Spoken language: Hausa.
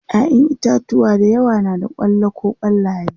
ƴaƴan itatauwa da yawa na da kwallo koh kwallaye